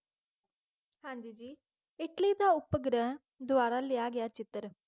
ਹਾਂਜੀ ਜੀ ਇੱਟਲੀ ਤੋਂ ਉਪਗ੍ਰਹਿ ਦੁਆਰਾ ਲਿਆ ਗਿਆ ਚਿੱਤਰ